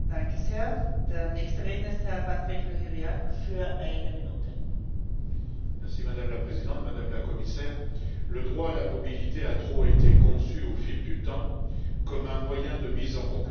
Madame la Présidente, Madame la Commissaire, le droit à la mobilité a trop été conçu au fil du temps comme un moyen de mise en concurrence des travailleurs entre eux, car il a été disjoint du droit et du progrès social et humain.